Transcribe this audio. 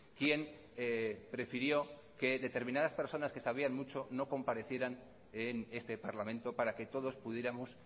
quien prefirió que determinadas personas que sabían mucho no comparecieran en este parlamento para que todos pudiéramos